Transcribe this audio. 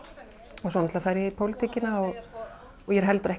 og svo náttúrlega fer ég í pólitíkina og ég er heldur ekki